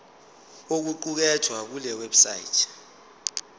okuqukethwe kule website